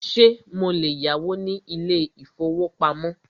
Ṣé mo lè yáwó ní ilé ìfọwọ́pamo?